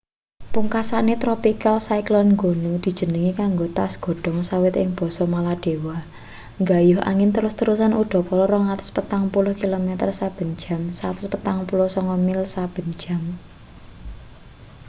pungkasane tropical cyclone gonu dijenengi kanggo tas godhong sawit ing basa maladewa nggayuh angin terus-terusan udakara 240 kilometer saben jam 149 mil saben jam